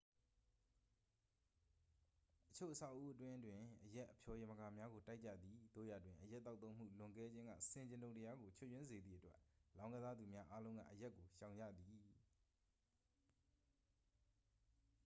အချို့ အဆောက်အဦးအတွင်းတွင်အရက်အဖျော်ယမကာများကို တိုက်ကြသည် သို့ရာတွင် အရက်သောက်သုံးမှုလွန်ကဲခြင်းက ဆင်ခြင်တုံတရားကို ချွတ်ယွင်းစေသည့်အတွက် လောင်းကစားသူများအားလုံးက အရက်ကို ရှောင်ရှားကြသည်